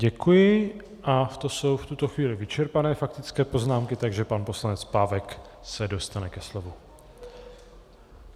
Děkuji a to jsou v tuto chvíli vyčerpané faktické poznámky, takže pan poslanec Pávek se dostane ke slovu.